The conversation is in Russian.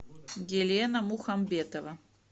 елена мухамбетова